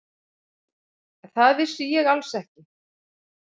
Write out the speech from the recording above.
Það vissi ég alls ekki.